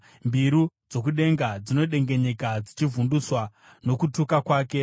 Mbiru dzokudenga dzinodengenyeka, dzichivhundutswa nokutuka kwake.